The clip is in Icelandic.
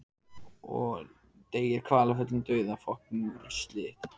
Sigmundur Ernir Rúnarsson: Þú ert búin að festa þér eina?